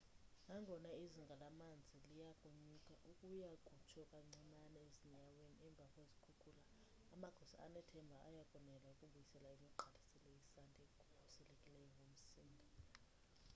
nangona izinga lamanzi liyakunyuka ukuya kutsho kancinane ezinyaweni emva kwezikhukhula amagosa anethemba ayakonela ukubuyisela imigqaliselo yesanti ekhukhulisekileyo ngumsinga